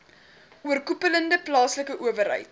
oorkoepelende plaaslike owerheid